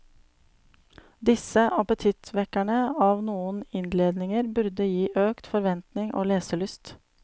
Disse appetittvekkerne av noen innledninger burde gi økt forventning og leselyst.